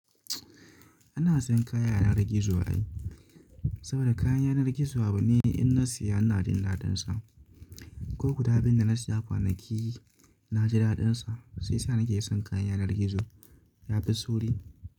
Ina siyan kaya a yanar gizo ai, saboda kayan yanar gizo abu ne in na siya ina jin daɗinsa. Ko guda biyun da na siya kwanaki na ji daɗinsa, shi yasa nake son kayan yanar gizo. Ya fi sauri.